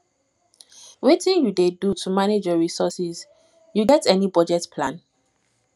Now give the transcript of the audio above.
wetin you dey do to manage your resources you get any budget plan